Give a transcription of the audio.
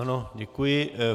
Ano, děkuji.